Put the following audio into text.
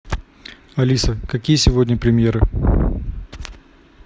алиса какие сегодня премьеры